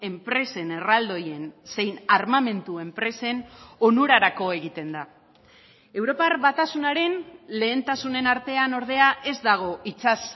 enpresen erraldoien zein armamentu enpresen onurarako egiten da europar batasunaren lehentasunen artean ordea ez dago itsas